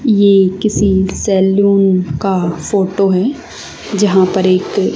ये किसी सैलून का फोटो है जहां पर एक--